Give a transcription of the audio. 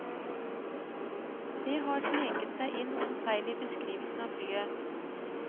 Det har sneket seg inn noen feil i beskrivelsen av flyet.